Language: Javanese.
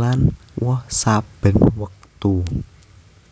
lan woh saben wektu